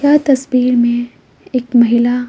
यह तस्वीर में एक महिला--